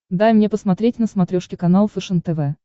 дай мне посмотреть на смотрешке канал фэшен тв